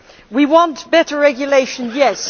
We want better regulation, yes.